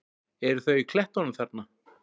Eru þau í klettunum þarna?